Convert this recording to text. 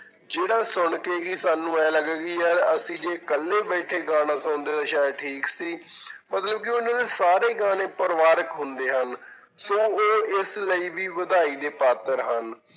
ਜਿਹੜਾ ਸੁਣਕੇ ਕਿ ਸਾਨੂੰ ਇਉਂ ਲੱਗੇ ਕਿ ਯਾਰ ਅਸੀ ਜੇ ਇਕੱਲੇ ਬੈਠੇ ਗਾਣਾ ਸੁਣਦੇ ਤਾਂ ਸ਼ਾਇਦ ਠੀਕ ਸੀ ਮਤਲਬ ਕਿ ਉਹਨਾਂ ਦੇ ਸਾਰੇ ਗਾਣੇ ਪਰਿਵਾਰਕ ਹੁੰਦੇ ਹਨ, ਸੋ ਉਹ ਇਸ ਲਈ ਵੀ ਵਧਾਈ ਦੇ ਪਾਤਰ ਹਨ।